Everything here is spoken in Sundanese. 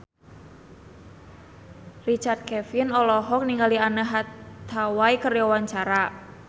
Richard Kevin olohok ningali Anne Hathaway keur diwawancara